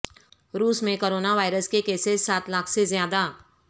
روس میں corona virus کے کیسز سات لاکھ سے زیادہ